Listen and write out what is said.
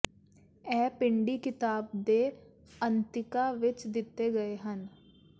ਇਹ ਪੰਛੀ ਕਿਤਾਬ ਦੇ ਅੰਤਿਕਾ ਵਿੱਚ ਦਿੱਤੇ ਗਏ ਹਨ